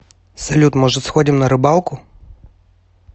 салют может сходим на рыбалку